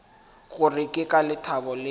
gore ke ka lethabo le